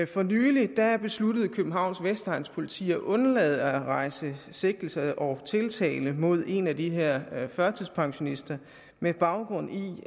for nylig besluttede københavns vestegns politi at undlade at rejse sigtelse og tiltale mod en af de her førtidspensionister med baggrund i